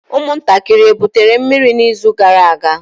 Ụmụntakịrị ebutere mmiri n'izu gara aga?